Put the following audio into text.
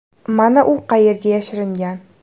Mana u qayerga yashiringan!